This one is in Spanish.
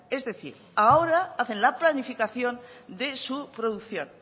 es decir ahora hacen la planificación de su producción